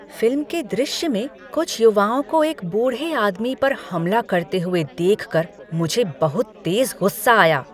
Film के दृश्य में कुछ युवाओं को एक बूढ़े आदमी पर हमला करते हुए देखकर मुझे बहुत तेज गुस्सा आया।